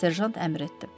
Serjant əmr etdi.